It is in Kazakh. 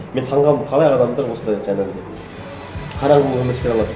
мен таң қалдым қалай адамдар осылай жаңағыдай қараңғы өмір сүре алады